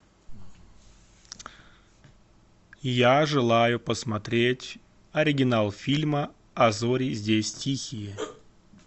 я желаю посмотреть оригинал фильма а зори здесь тихие